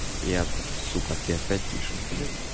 я сука ты опять пишешь блядь